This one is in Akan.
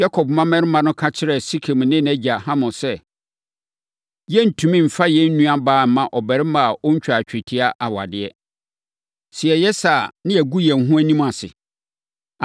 Yakob mmammarima no ka kyerɛɛ Sekem ne nʼagya Hamor sɛ, “Yɛrentumi mfa yɛn nuabaa mma ɔbarima a ɔntwaa twetia awadeɛ. Sɛ yɛyɛ saa a, na yɛagu yɛn ho anim ase.